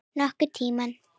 Nokkurn tímann.